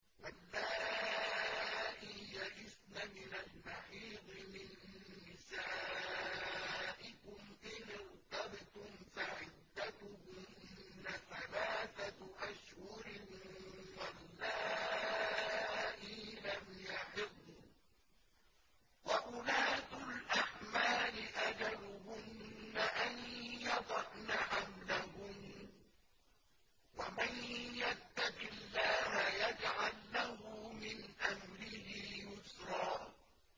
وَاللَّائِي يَئِسْنَ مِنَ الْمَحِيضِ مِن نِّسَائِكُمْ إِنِ ارْتَبْتُمْ فَعِدَّتُهُنَّ ثَلَاثَةُ أَشْهُرٍ وَاللَّائِي لَمْ يَحِضْنَ ۚ وَأُولَاتُ الْأَحْمَالِ أَجَلُهُنَّ أَن يَضَعْنَ حَمْلَهُنَّ ۚ وَمَن يَتَّقِ اللَّهَ يَجْعَل لَّهُ مِنْ أَمْرِهِ يُسْرًا